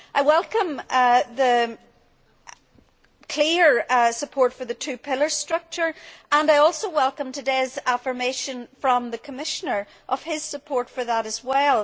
I welcome the clear support for the two pillar structure and I also welcome today's affirmation from the Commissioner of his support for that as well.